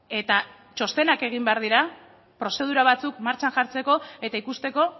eta txostenak egin behar dira prozedura batzuk martxan jartzeko eta ikusteko